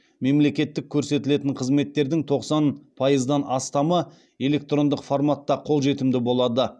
мемлекеттік көрсетілетін қызметтердің тоқсан пайыздан астамы электрондық форматта қолжетімді болады